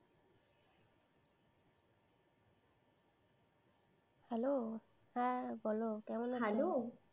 Hello, হ্যাঁ বলো কেমন আছো? হ্যালো।